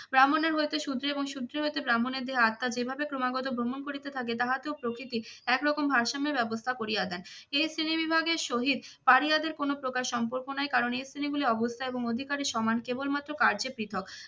ব্রাহ্মণের হইতে শূদ্রের এবং শূদ্রের হইতে ব্রাহ্মণের দেহে আত্মার যেভাবে ক্রমাগত ভ্রমণ করিতে থাকে তাহাতেও প্রকৃতি এক রকম ভারসাম্যে ব্যবস্থা করিয়া দেয়। এই শ্রেণী বিভাগের সহিত পাড়িয়াদের কোন প্রকার সম্পর্ক নাই কারণ এর শ্রেণীগুলি অবস্থা এবং অধিকারীর সমান কেবলমাত্র কার্যে পৃথক।